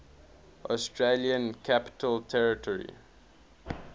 australian capital territory